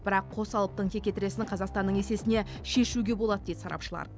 бірақ қос алыптың текетіресін қазақстанның есесіне шешуге болады дейді сарапшылар